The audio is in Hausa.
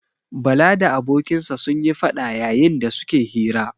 Bala da abokinsa sun yi faɗa yayin da su ke hira.